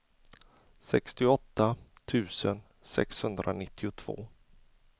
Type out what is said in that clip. sextioåtta tusen sexhundranittiotvå